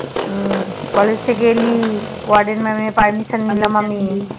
হম college থেকে এলি word এর মাম এর Permission নিলাম আমি